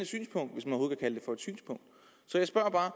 synspunkt så jeg spørger bare